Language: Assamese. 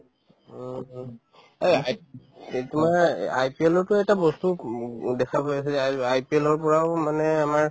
উম উম এই তোমাৰ IPL তো এটা বস্তু দেখা পাই আছো যে I ~ IPL ৰ পৰাও মানে আমাৰ